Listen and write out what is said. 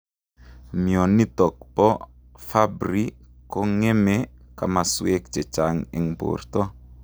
Mionitok poo Fabry kongemee komasweek chechang eng portoo